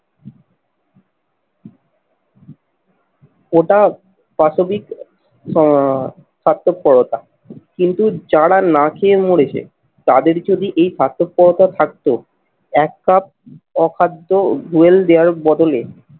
ওটা পাশবিক আহ সার্থপরতা কিন্তু যারা না খেয়ে মরেছে তাদের যদি এই স্বার্থপরতা থাকতো এক কাপ অখাদ্য রুয়েল দেওয়ারও বদলে